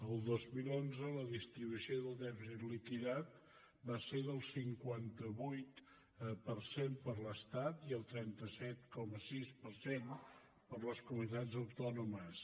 el dos mil onze la distribució del dèficit liquidat va ser del cinquanta vuit per cent per a l’estat i el trenta set coma sis per cent per a les comunitats autònomes